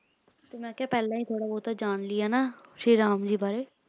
ਮੈਂ ਕਿਹਾ ਪਹਿਲਾ ਹੀ ਥੋੜਾ ਬਹੁਤ ਜਾਣ ਲੀਏ ਸ਼੍ਰੀ ਰਾਮ ਜੀ ਬਾਰੇ